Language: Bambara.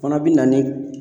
O fana be na ni